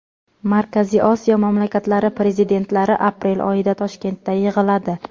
Markaziy Osiyo mamlakatlari prezidentlari aprel oyida Toshkentda yig‘iladi.